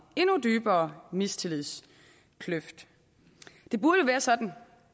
endnu dybere mistillidskløft det burde være sådan